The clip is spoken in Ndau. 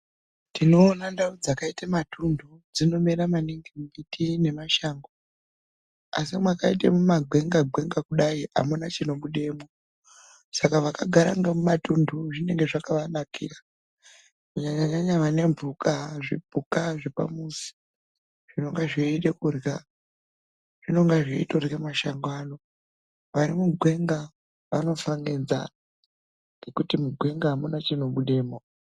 Tinoona ndau dzakaita matunthu, dzinomera maningi mimbiti nemashango. Asi mwakaite mumagwenga-gwenga kudai amuna chinobunemwo. Saka vakagara nhemumatunthu zvinenge zvakavanakira. Kunyanya-nyanya vane mphuka, zvipuka zvepamuzi zvinenge zveida kurya, zvinonga zveitorya masango ano. Vari mugwenga zvinofa ngenzara ngekuti mugwenga amuna chinobidemwo.